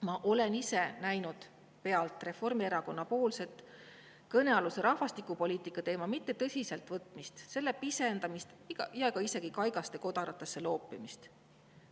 Ma olen ise näinud pealt Reformierakonnas kõnealuse rahvastikupoliitika teema mitte tõsiselt võtmist, pisendamist ja ka isegi kaigaste kodaratesse loopimist.